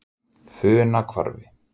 Funahvarfi